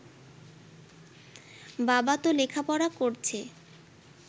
বাবা ত লেখাপড়া করছে